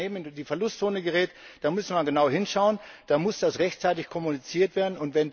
Wenn ein Unternehmen in die Verlustzone gerät, dann müssen wir genau hinschauen, dann muss das rechtzeitig kommuniziert werden.